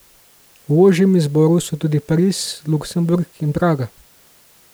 V ožjem izboru so tudi Pariz, Luksemburg in Praga.